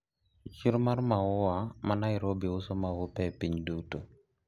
siro mar maua ma nairobi uso maupe e piny duto